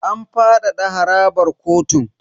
An fadada harabar kotun.